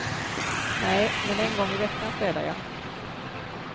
Nej, men en gång i veckan städar jag.